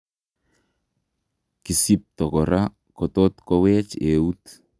Kisibto kora kotot koweech euut